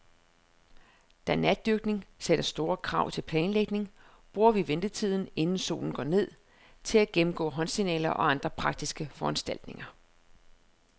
Da natdykning sætter store krav til planlægning, bruger vi ventetiden, inden solen går ned, til at gennemgå håndsignaler og andre praktiske foranstaltninger.